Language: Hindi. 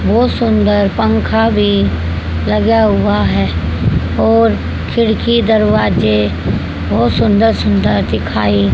बहोत सुंदर पंखा भी लगा हुआ है और खिड़की दरवाजे बहोत सुंदर सुंदर दिखाई--